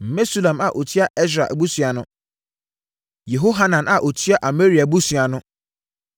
Mesulam a ɔtua Ɛsra abusua ano. Yehohanan a ɔtua Amaria abusua ano.